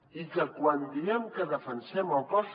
i quan diem que defensem el cos